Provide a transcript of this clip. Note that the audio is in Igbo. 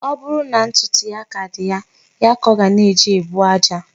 Ọ bụrụ na ntụtụ ya ka dị ya, ya ka ọ ga-eji buo aja.